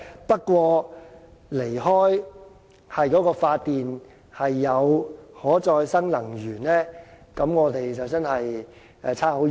不過，如離開以可再生能源發電，我們便會相差很遠。